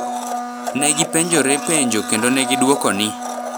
Ne gipenjore penjo kendo ne gidwoko ni,